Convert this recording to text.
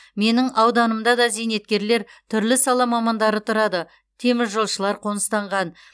менің ауданымда да зейнеткерлер түрлі сала мамандары тұрады теміржолшылар қоныстанған